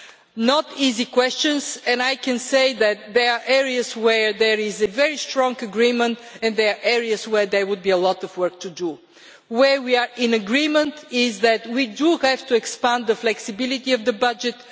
These are not easy questions and I can say that there are areas where there is very strong agreement and there are areas where there would be a lot of work to do. Where we are in agreement is that we have to expand the flexibility of the budget.